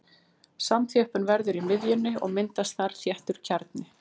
Samþjöppun verður í miðjunni og myndast þar þéttur kjarni.